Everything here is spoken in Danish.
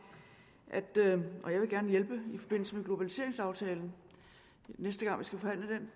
og jeg vil gerne hjælpe i forbindelse med globaliseringsaftalen næste gang vi skal forhandle